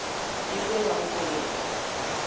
e be ya go kobega